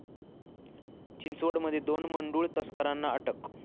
चिंचवडमध्ये दोन मांडूळ तस्करांना अटक